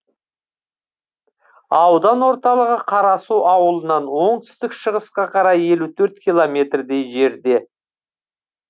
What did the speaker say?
аудан орталығы қарасу ауылынан оңтүстік шығысқа қарай елу төрт километрдей жерде